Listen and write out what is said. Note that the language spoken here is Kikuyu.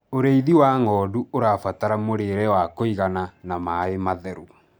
ũrĩithi wa ng'ondu ũrabatara mũrĩre wa kũigana na maĩ matheru